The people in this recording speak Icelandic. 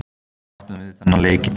Við áttum að vinna þennan leik í dag.